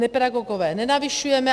Nepedagogové, nenavyšujeme.